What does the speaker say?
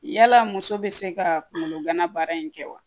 Yala muso bɛ se ka kungolo gana baara in kɛ wa